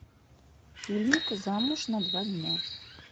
фильмик замуж на два дня